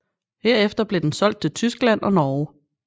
Herefter blev den solgt til Tyskland og Norge